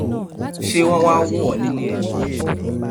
ṣé wọn wáá wò ó nílé ẹ ni